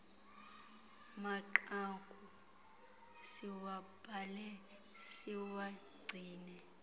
manqaku siwabhale siwagcine